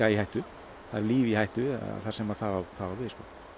í hættu það eru líf í hættu þar sem það á við